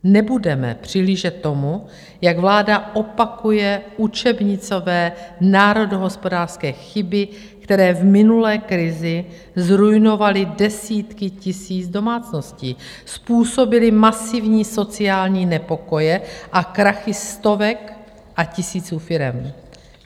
Nebudeme přihlížet tomu, jak vláda opakuje učebnicové národohospodářské chyby, které v minulé krizi zruinovaly desítky tisíc domácností, způsobily masivní sociální nepokoje a krachy stovek a tisíců firem.